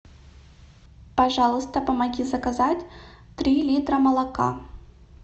пожалуйста помоги заказать три литра молока